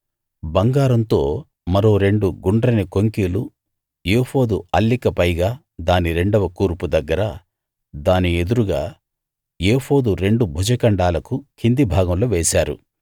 బంగారంతో మరో రెండు గుండ్రని కొంకీలు ఏఫోదు అల్లిక పైగా దాని రెండవ కూర్పు దగ్గర దాని ఎదురుగా ఏఫోదు రెండు భుజఖండాలకు కింది భాగంలో వేశారు